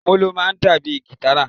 Molo náá dabi gitára